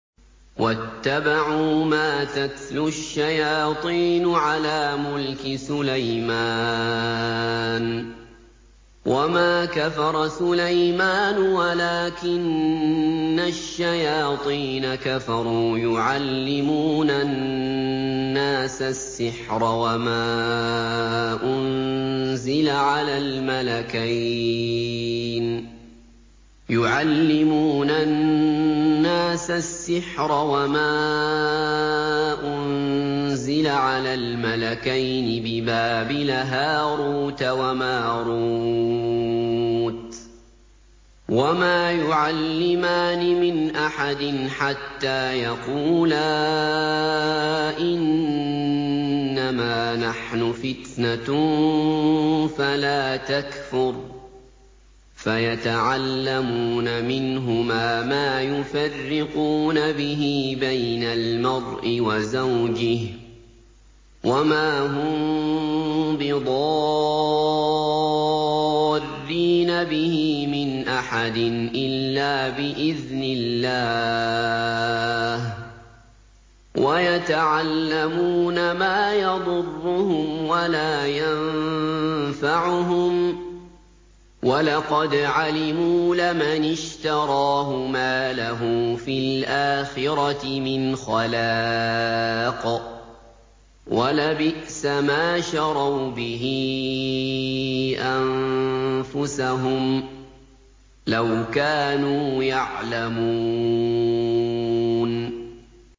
وَاتَّبَعُوا مَا تَتْلُو الشَّيَاطِينُ عَلَىٰ مُلْكِ سُلَيْمَانَ ۖ وَمَا كَفَرَ سُلَيْمَانُ وَلَٰكِنَّ الشَّيَاطِينَ كَفَرُوا يُعَلِّمُونَ النَّاسَ السِّحْرَ وَمَا أُنزِلَ عَلَى الْمَلَكَيْنِ بِبَابِلَ هَارُوتَ وَمَارُوتَ ۚ وَمَا يُعَلِّمَانِ مِنْ أَحَدٍ حَتَّىٰ يَقُولَا إِنَّمَا نَحْنُ فِتْنَةٌ فَلَا تَكْفُرْ ۖ فَيَتَعَلَّمُونَ مِنْهُمَا مَا يُفَرِّقُونَ بِهِ بَيْنَ الْمَرْءِ وَزَوْجِهِ ۚ وَمَا هُم بِضَارِّينَ بِهِ مِنْ أَحَدٍ إِلَّا بِإِذْنِ اللَّهِ ۚ وَيَتَعَلَّمُونَ مَا يَضُرُّهُمْ وَلَا يَنفَعُهُمْ ۚ وَلَقَدْ عَلِمُوا لَمَنِ اشْتَرَاهُ مَا لَهُ فِي الْآخِرَةِ مِنْ خَلَاقٍ ۚ وَلَبِئْسَ مَا شَرَوْا بِهِ أَنفُسَهُمْ ۚ لَوْ كَانُوا يَعْلَمُونَ